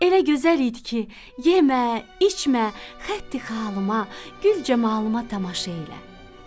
Elə gözəl idi ki, yemə, içmə, xətti xalıma, gül camalıma tamaşa elə.